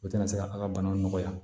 U tɛna se ka a ka bana nɔgɔya